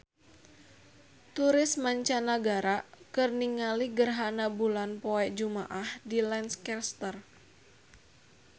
Turis mancanagara keur ningali gerhana bulan poe Jumaah di Lancaster